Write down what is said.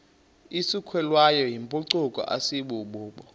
isukelwayo yimpucuko asibubo